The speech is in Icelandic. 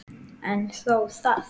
En þó það.